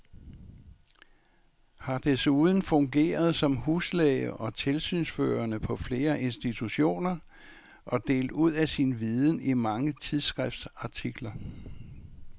Han har desuden fungeret som huslæge og tilsynsførende på flere institutioner og delt ud af sin viden i mange tidsskriftsartikler.